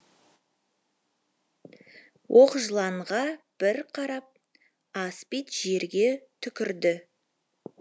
оқжыланға бір қарап аспид жерге түкірді